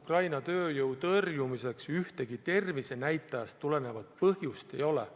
Ukraina tööjõu tõrjumiseks ühtegi tervisenäitajatest tulenevat põhjust ei ole.